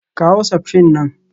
Kawo septrin nan